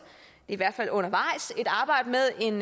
i hvert fald undervejs et arbejde med en